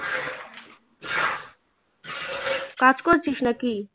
কাজ করছিস নাকি